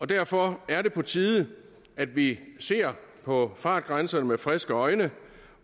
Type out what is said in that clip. derfor er det på tide at vi ser på fartgrænserne med friske øjne